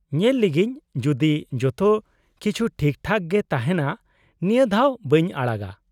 -ᱧᱮᱞ ᱞᱮᱜᱤᱧ ᱡᱩᱫᱤ ᱡᱚᱛᱚ ᱠᱤᱪᱷᱩ ᱴᱷᱤᱠ ᱴᱷᱟᱠ ᱜᱮ ᱛᱟᱦᱮᱱᱟ ᱱᱤᱭᱟᱹ ᱫᱷᱟᱣ ᱵᱟᱹᱧ ᱟᱲᱟᱜᱟ ᱾